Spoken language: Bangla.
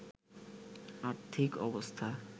আর্থিক অবস্থা